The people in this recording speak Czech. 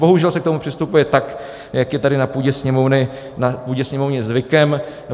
Bohužel se k tomu přistupuje tak, jak je tady na půdě Sněmovny zvykem.